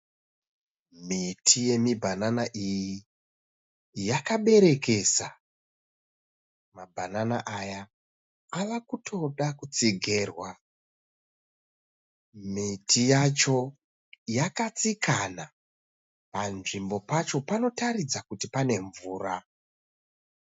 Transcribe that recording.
Miti yemibhanana iyi yakaberekesa. Mabhanana aya ava kutoda kutotsigerwa. Miti yacho yakatsikana. Panzvimbo pacho panotaridza kuti pane mvura.